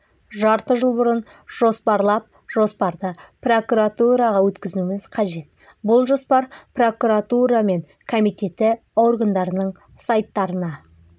жарты жыл бұрын жоспарлап жоспарды прокуратураға өткізуіміз қажет бұл жоспар прокуратура мен комитеті органдарының сайттарына